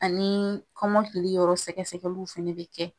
Ani kɔnɔkili yɔrɔ sɛgɛsɛgɛliw fɛnɛ be kɛ.